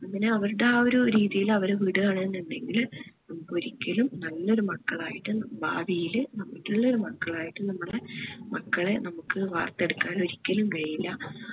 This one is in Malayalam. അങ്ങനെ ആ അവർടേ ആ ഒരു രീതിയിൽ അവരെ വിടുവാണ് എന്നുണ്ടെകില് നമ്മക്ക് ഒരിക്കലും നല്ലൊരു മക്കളായിട്ട് ഭാവിയില് നല്ലൊരു മക്കളായിട്ട് നമ്മള് മക്കളെ നമ്മക് വാർത്തെടുക്കാൻ ഒരിക്കലും കഴിയില്ല